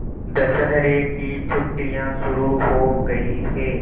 दशहरे की छुट्टियाँ शुरू हो गई हैं